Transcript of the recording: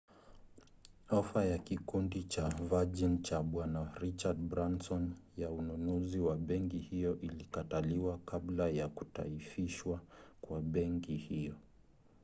ofa ya kikundi cha virgin cha bwana richard branson ya ununuzi wa benki hiyo ilikataliwa kabla ya kutaifishwa kwa benki hiyo